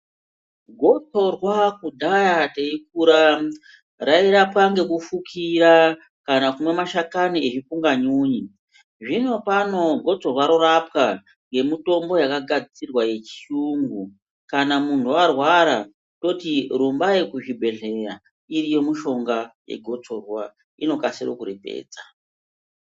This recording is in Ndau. Gotsorwa kudhaya teikura rairapwa ngekufukira kana kumwa mashakani ezvipunganyunyi. Zvino pano gotsorwa rorapwa ngemitombo yakagadzirwa yechiyungu. Kana muntu warwara toti rumbai kuchibhehleya, iriyo mishonga yegotsorwa, inokasire kuripedza.